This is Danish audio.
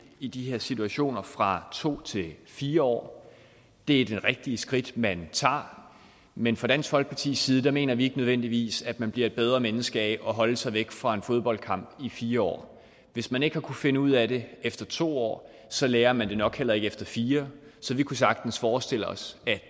i de her situationer fra to til fire år det er det rigtige skridt man tager men fra dansk folkepartis side mener vi ikke nødvendigvis at man bliver et bedre menneske af at holde sig væk fra en fodboldkamp i fire år hvis man ikke har kunnet finde ud af det efter to år så lærer man det nok heller ikke efter fire så vi kunne sagtens forestille os at